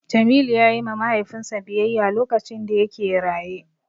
Jamilu ya yi ma Mahaifinsa biyayya lokacin da yake raye.